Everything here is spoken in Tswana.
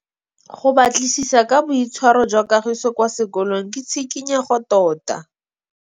Go batlisisa ka boitshwaro jwa Kagiso kwa sekolong ke tshikinyêgô tota.